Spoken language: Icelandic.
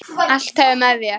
Allt hverfur með þér.